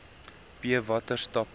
b watter stappe